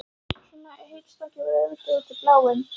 Svona heitstrengingar voru auðvitað út í bláinn.